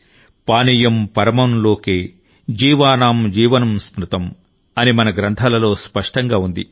పానీయం పరమం లోకే జీవానాం జీవనం స్మృతమ్ అని మన గ్రంథాలలో స్పష్టంగా ఉంది